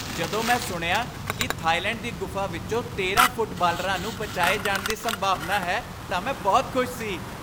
ਜਦੋਂ ਮੈਂ ਸੁਣਿਆ ਕੀ ਥਾਈਲੈਂਡ ਦੀ ਗੁਫਾ ਵਿੱਚੋਂ ਤੇਰਾਂ ਫੁੱਟਬਾਲਰਾਂ ਨੂੰ ਬਚਾਏ ਜਾਣ ਦੀ ਸੰਭਾਵਨਾ ਹੈ ਤਾਂ ਮੈਂ ਬਹੁਤ ਖੁਸ਼ ਸੀ